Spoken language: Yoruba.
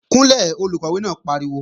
Kúnlẹ̀, Olùkọ́ náà pariwo!